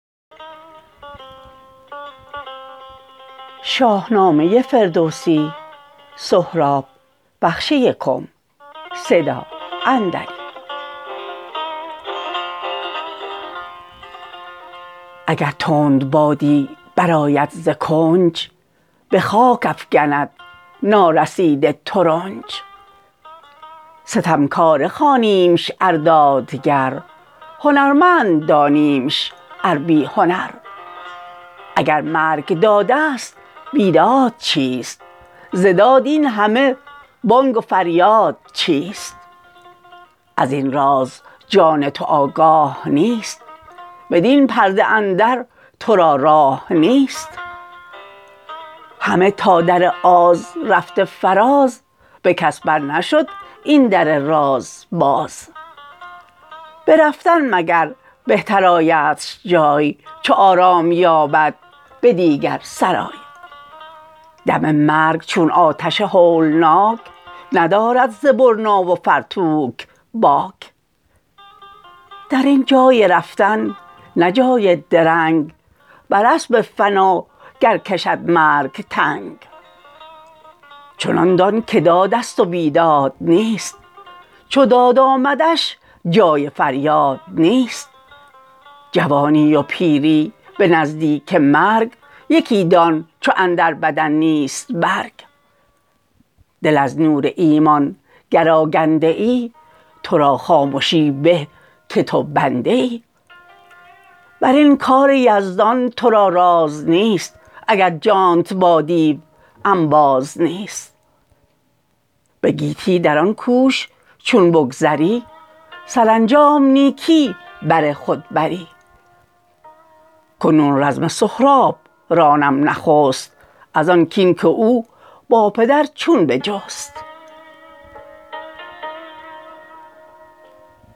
اگر تندبادی براید ز کنج بخاک افگند نارسیده ترنج ستمکاره خوانیمش ار دادگر هنرمند دانیمش ار بی هنر اگر مرگ دادست بیداد چیست ز داد این همه بانگ و فریاد چیست ازین راز جان تو آگاه نیست بدین پرده اندر ترا راه نیست همه تا در آز رفته فراز به کس بر نشد این در راز باز برفتن مگر بهتر آیدش جای چو آرام یابد به دیگر سرای دم مرگ چون آتش هولناک ندارد ز برنا و فرتوت باک درین جای رفتن نه جای درنگ بر اسپ فنا گر کشد مرگ تنگ چنان دان که دادست و بیداد نیست چو داد آمدش جای فریاد نیست جوانی و پیری به نزدیک مرگ یکی دان چو اندر بدن نیست برگ دل از نور ایمان گر آگنده ای ترا خامشی به که تو بنده ای برین کار یزدان ترا راز نیست اگر جانت با دیو انباز نیست به گیتی دران کوش چون بگذری سرانجام نیکی بر خود بری کنون رزم سهراب رانم نخست ازان کین که او با پدر چون بجست